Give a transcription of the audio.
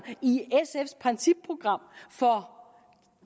i sfs principprogram for